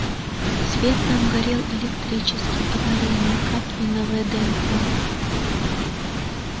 свет там горел электрический аварийный как и на вднх